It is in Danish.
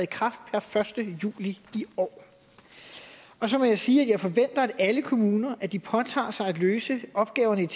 kraft per første juli i år så må jeg sige at jeg forventer af alle kommuner at de påtager sig at løse opgaverne